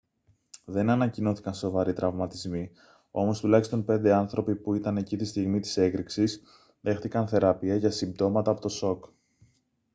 δεν ανακοινώθηκαν σοβαροί τραυματισμοί όμως τουλάχιστον πέντε άνθρωποι που ήταν εκεί τη στιγμή της έκρηξης δέχθηκαν θεραπεία για συμπτώματα από το σοκ